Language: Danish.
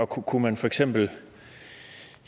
kunne kunne man for eksempel